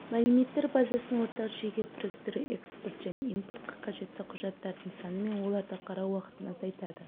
мәліметтер базасын ортақ жүйеге біріктіру экспорт пен импортқа қажетті құжаттардың саны мен оларды қарау уақытын азайтады